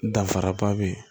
Danfaraba bɛ yen